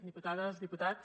diputades diputats